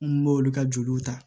N b'olu ka joliw ta